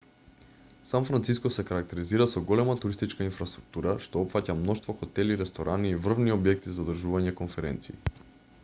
сан франциско се карактеризира со голема туристичка инфраструктура што опфаќа мноштво хотели ресторани и врвни објекти за одржување конференции